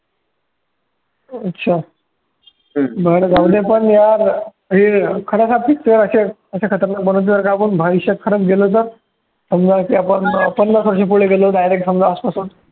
अच्छा यार हे असं खतरनाक बनून जर का आपण भविष्यात खरचं गेलो तर, समजा की आपण पन्नास वर्ष पुढे गेलो direct समजा आजपासून